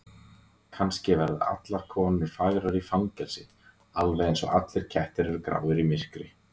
Kannski verða allar konur fagrar í fangelsi, alveg einsog allir kettir eru gráir í myrkri.